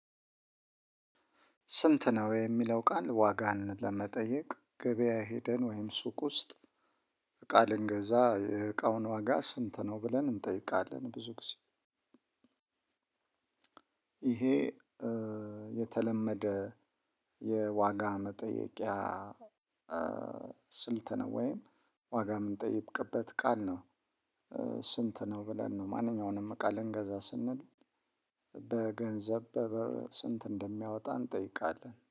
ስንት ነው የሚለው ቃል ዋጋን ለመጠየቅ ገበያ ሄደን ወይም ሱቅ ውስጥ እቃ ልንገዛ የእቃውን ዋጋ ስንት ነው ብለን እንጠይቃለን ብዙ ጊዜ ይሄ የተለመደ የዋጋ መጠየቂያ ስልት ነው። ወይም ዋጋ የምንጠይቅበት ቃል ነው። ስንት ነው ብለን ነው ማንኛውንም እቃ ልንገዛ ስንል በገንዘብ በብር ስንት እንደሚያወጣ እንጠይቃለን።